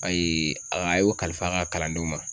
Ayi a y'o kalifa an ka kalandenw ma.